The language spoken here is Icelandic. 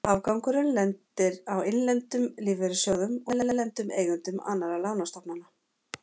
Afgangurinn lendir á innlendum lífeyrissjóðum og erlendum eigendum annarra lánastofnana.